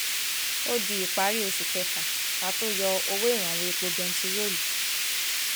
ó di ìparí oṣù kéfà ká tóó yọ owó ìrànwọ epo bẹntiróòlù